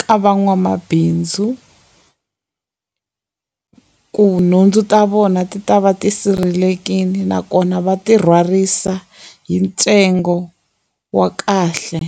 ka van'wamabindzu ku nhundzu ta vona ti ta va ti sirhelelekile nakona va ti rhwarisa hi ntsengo wa kahle.